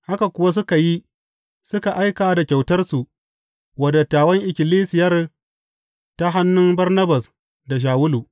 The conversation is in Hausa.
Haka kuwa suka yi, suka aika da kyautarsa wa dattawan ikkilisiyar ta hannu Barnabas da Shawulu.